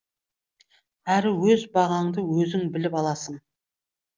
әрі өз бағаңды өзің біліп аласың